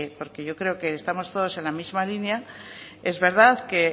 porque yo creo que estamos todos en la misma línea es verdad que